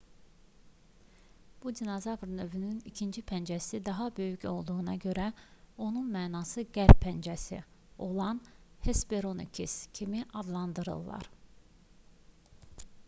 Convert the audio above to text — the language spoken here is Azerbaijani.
bu dinozavr növünün ikinci pəncəsi daha böyük olduğuna görə onu mənası qərb pəncəsi olan hesperonychus kimi adlandırdılar